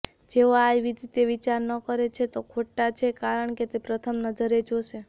જેઓ આ રીતે ન વિચારે છે તે ખોટા છે કારણ કે તે પ્રથમ નજરે જોશે